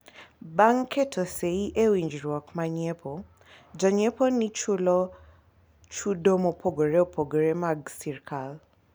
Bang' keto sei e winjruok ma nyiepo, janyiepo ni chulo chudo mopogore opogore mag sirikal